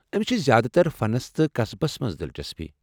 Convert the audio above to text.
أمس چھ زیادٕ تر فنس تہٕ قسبس منٛز دلچسپی۔